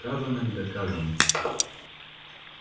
сказано не доказано